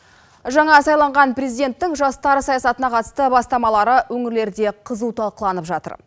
жаңа сайланған президенттің жастар саясатына қатысты бастамалары өңірлерде қызу талқыланып жатыр